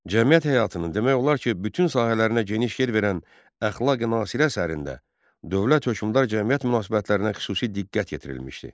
Cəmiyyət həyatının demək olar ki, bütün sahələrinə geniş yer verən “Əxlaqi-Nasiri” əsərində dövlət-hökmdar-cəmiyyət münasibətlərinə xüsusi diqqət yetirilmişdi.